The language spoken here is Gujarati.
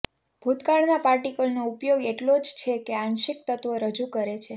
ભૂતકાળના પાર્ટિકલનો ઉપયોગ એટલો જ છે કે આંશિક તત્ત્વો રજૂ કરે છે